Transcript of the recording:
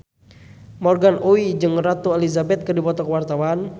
Morgan Oey jeung Ratu Elizabeth keur dipoto ku wartawan